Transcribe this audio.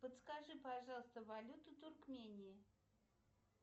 подскажи пожалуйста валюту туркмении